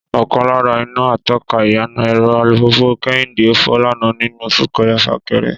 Ọ̀kan lára iná atọ́ka iyana ẹ̀rọ alùpùpù Kẹ́hìndé fọ́ lánàá nínú súnkẹrẹ-fàkẹrẹ